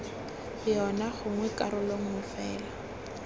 yona gongwe karolo nngwe fela